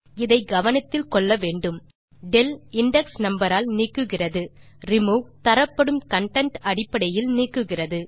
இதை கவனத்தில் கொள்ள வேண்டும் del இண்டெக்ஸ் நம்பர் ஆல் நீக்குகிறது ரிமூவ் தரப்படும் கன்டென்ட் அடிப்படையில் நீக்குகிறது